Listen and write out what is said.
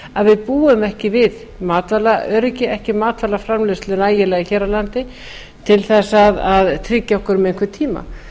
að við búum ekki við matvælaöryggi ekki matvælaframleiðslu nægilega hér á landi til að tryggja okkur um einhvern tíma